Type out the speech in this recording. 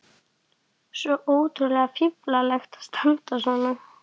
Svo ótrúlega fíflalegt að standa svona.